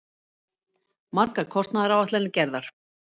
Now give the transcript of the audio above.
Margar kostnaðaráætlanir gerðar.